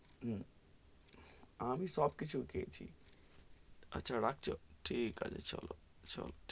উম আমি সব কিছু খেয়েছি, আচ্ছা রাখছো, ঠিক আছে চলো, চলো.